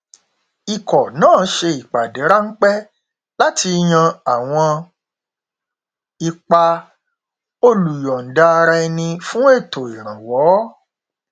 ikọ náà ṣe ìpàdé ránpẹ láti yan àwọn ipa olùyọndaaraẹni fún ètò ìrànwọ